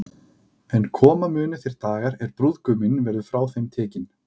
En koma munu þeir dagar, er brúðguminn verður frá þeim tekinn.